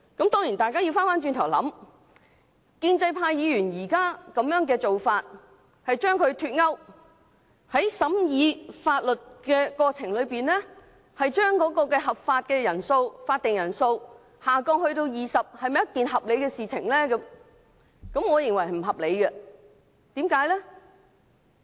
當然大家要回想，建制派議員現在的做法，將兩者脫鈎，在審議立法建議的過程中，將全體委員會法定的人數減低至20人，是否合理？